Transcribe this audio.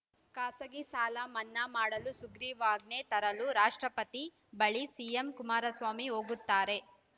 ಖಾಸಗಿ ಸಾಲ ಮನ್ನಾ ಮಾಡಲು ಸುಗ್ರೀವಾಜ್ಞೆ ತರಲು ರಾಷ್ಟ್ರಪತಿ ಬಳಿ ಸಿಎಂ ಕುಮಾರಸ್ವಾಮಿ ಹೋಗುತ್ತಾರೆ